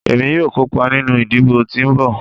Emi yoo kopa ninu idibo ti nbọ